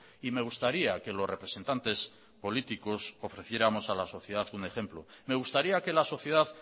y me gustaría que los representantes políticos ofreciéramos a la sociedad un ejemplo me gustaría que la sociedad